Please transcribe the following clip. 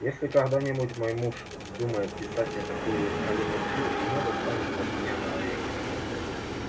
если когда-нибудь мой муж вздумает писать мне такую галиматью ему достанется от меня на орехи